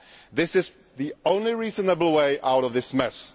That is the only reasonable way out of this mess.